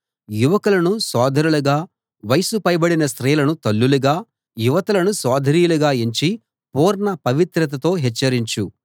యువకులను సోదరులుగా వయసు పైబడిన స్త్రీలను తల్లులుగా యువతులను సోదరీలుగా ఎంచి పూర్ణ పవిత్రతతో హెచ్చరించు